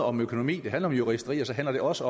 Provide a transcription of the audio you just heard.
om økonomi det handler om juristeri og så handler det også